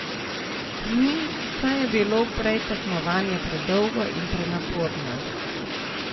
Mi, saj je bilo prej tekmovanje predolgo in prenaporno.